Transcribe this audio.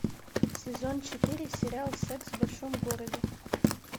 сезон четыре сериал секс в большом городе